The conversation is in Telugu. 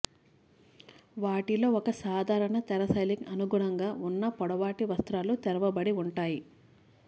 వాటిలో ఒక సాధారణ తెర శైలికి అనుగుణంగా ఉన్న పొడవాటి వస్త్రాలు తెరవబడి ఉంటాయి